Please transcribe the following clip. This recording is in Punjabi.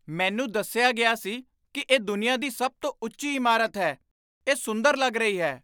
ਮੈਨੂੰ ਦੱਸਿਆ ਗਿਆ ਸੀ ਕਿ ਇਹ ਦੁਨੀਆ ਦੀ ਸਭ ਤੋਂ ਉੱਚੀ ਇਮਾਰਤ ਹੈ। ਇਹ ਸੁੰਦਰ ਲੱਗ ਰਹੀ ਹੈ!